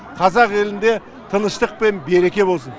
қазақ елінде тыныштық пен береке болсын